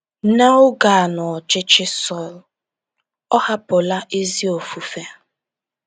N’oge a n’ọchịchị Sọl, ọ hapụla ezi ofufe.